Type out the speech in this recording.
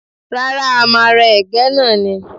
Rárá, a máa rẹ́ Ẹ̀gẹ́ náà ni.